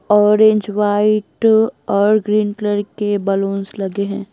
Orange white और green colour के बलूंस लगे हैं।